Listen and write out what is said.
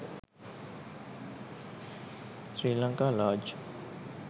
sri lanka large